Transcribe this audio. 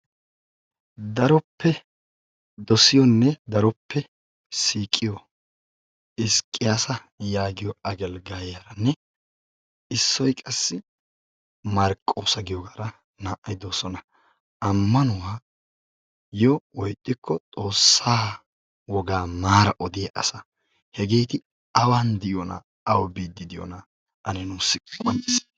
Daroppe dosiyonne daroppe siiqiyo Hisiqiyasa yaagiyo agelgayiyanne issoy qassi Marqqosa giyogaara naa"ay doosona. Ammanuwayyo woykko xoossaa wogaa maara odiyaageeta. Hegeeti awan diyonaa? awu biiddi diyoonaa ane nuuussi qonccissite.